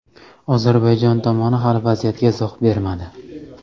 Ozarbayjon tomoni hali vaziyatga izoh bermadi.